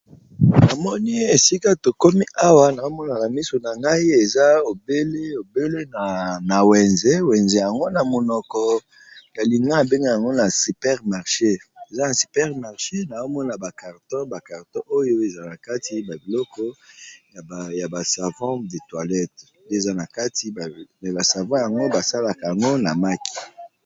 Na moni esika to komi awa nazo mona na misu na ngai eza obele na wenze, wenze yango na monoko ya lingala ba benga yango eza na super marché, na zo mona ba carton, ba carton oyo eza na kati ba biloko ya ba savon de toilette eza na kati mais ba savons yango ba salaka yango na maki .